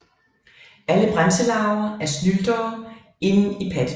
Alle bremselarver er snyltere inden i pattedyr